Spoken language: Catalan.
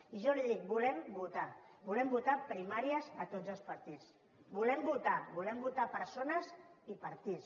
i jo li dic volem votar volem votar en primàries a tots els partits volem votar volem votar persones i partits